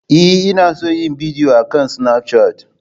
Ee, ina son yin bidiyo akan Snapchat.